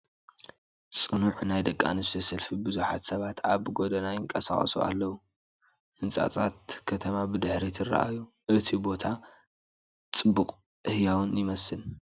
ጽዑቕ ናይ ደቂ ኣንስትዮ ሰልፊ ብዙሓት ሰባት ኣብ ጎደና ይንቀሳቐሱ ኣለዉ። ህንጻታት ከተማ ብድሕሪት ይረኣዩ። እቲ ቦታ ጽዑቕን ህያውን ይመስል።